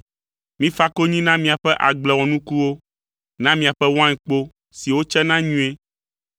Mifa konyi na miaƒe agble wɔnukuwo, na miaƒe wainkpo siwo tsena nyuie,